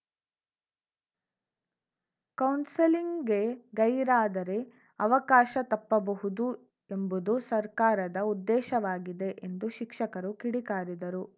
ಕೌನ್ಸೆಲಿಂಗ್‌ಗೆ ಗೈರಾದರೆ ಅವಕಾಶ ತಪ್ಪಬಹುದು ಎಂಬುದು ಸರ್ಕಾರದ ಉದ್ದೇಶವಾಗಿದೆ ಎಂದು ಶಿಕ್ಷಕರು ಕಿಡಿಕಾರಿದರು